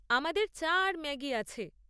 আমাদের চা আর ম্যাগি আছে।